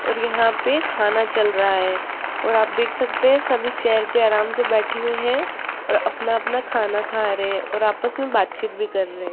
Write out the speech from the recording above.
और यहां पे खाना चल रहा है और आप देख सकते हैं सभी चेयर पे आराम से बैठे हुई है और अपना अपना खाना खा रहे हैं और आपस में बातचीत भी कर रहे --